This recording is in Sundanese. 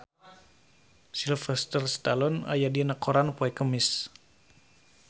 Sylvester Stallone aya dina koran poe Kemis